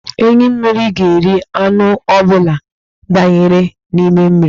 Enyí mmiri ga-eri anụ ọ bụla danyere n'mmiri.